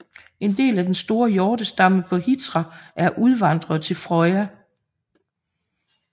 En del af den store hjortestamme på Hitra er udvandret til Frøya